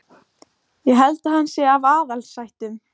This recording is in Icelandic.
Ég held að hann sé af aðalsættum.